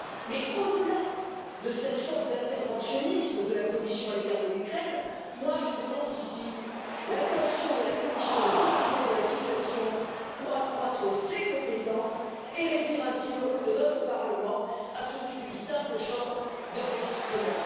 Mais au delà de cette forme d'interventionnisme de la Commission à l'égard de l'Ukraine, je dénonce ici l'intention de la Commission de profiter de la situation pour accroître ses compétences et réduire ainsi le rôle de notre Parlement à celui d'une simple chambre d'enregistrement.